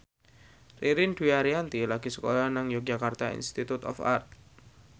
Ririn Dwi Ariyanti lagi sekolah nang Yogyakarta Institute of Art